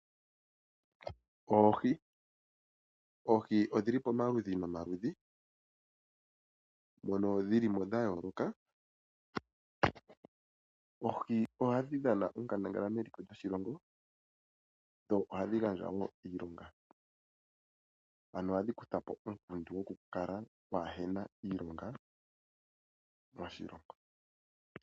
Oohi Oohi odhili pamaludhi nomaludhi mono dhili mo dha yooloka. Oohi ohadhi dhana onkandangala meliko lyoshilongo, dho ohadhi gandja wo iilonga. Ano ohadhi kutha po uunkundi woku kala pwaa hena iilonga moshilongo.